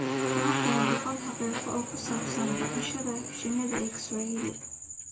Waa kuwan boqol xaqiiqo oo ku saabsan dhaqashada shinnida ee Kiswahili: